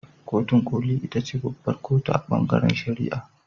Kotun koli ita ce babbar kotu a ɓangaren shari'a.